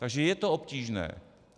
Takže je to obtížné.